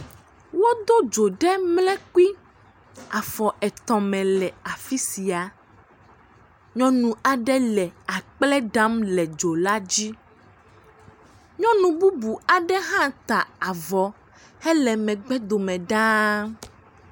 Wodo dzo ɖe mlekpui afɔ etɔ̃ me le afi sia. Nyɔnua aɖe le akple ɖam le dzo la dzi. Nyɔnu bubu aɖe hã ta avɔ hele megbe dome ɖaa.